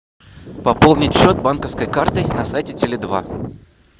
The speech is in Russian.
пополнить счет банковской картой на сайте теле два